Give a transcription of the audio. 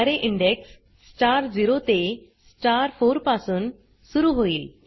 अरे index star 0 ते star 4 पासून सुरू होईल